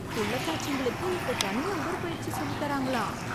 புள்ளத்தாச்சிங்களுக்கு இப்போ தனியா உடற்பயிற்சி சொல்லித்தராங்களாம்...